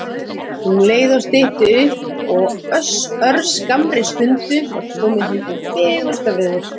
Um leið stytti upp og á örskammri stund var komið hið fegursta veður.